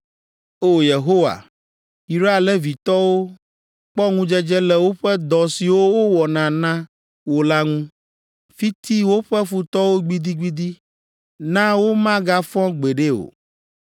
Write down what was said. O! Yehowa, yra Levitɔwo kpɔ ŋudzedze le woƒe dɔ siwo wowɔna na wò la ŋu. Fiti woƒe futɔwo gbidigbidi na womagafɔ gbeɖe o.”